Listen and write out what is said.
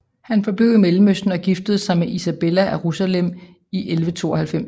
Han forblev i Mellemøsten og giftede sig med Isabella af Jerusalem i 1192